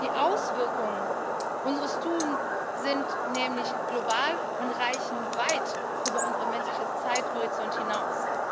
Die Auswirkungen unseres Tuns sind nämlich global und reichen weit über unseren menschlichen Zeithorizont hinaus.